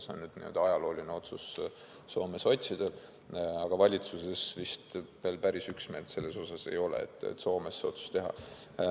See on Soome sotsidel nüüd ajalooline otsus, aga valitsuses vist veel päris üksmeelt selles osas ei ole, et Soomes see otsus teha.